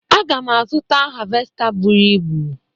Aga m azụta havesta buru ibu